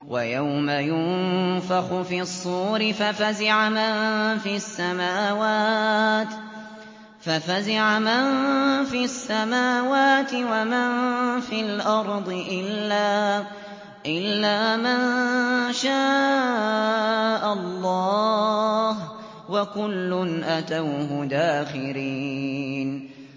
وَيَوْمَ يُنفَخُ فِي الصُّورِ فَفَزِعَ مَن فِي السَّمَاوَاتِ وَمَن فِي الْأَرْضِ إِلَّا مَن شَاءَ اللَّهُ ۚ وَكُلٌّ أَتَوْهُ دَاخِرِينَ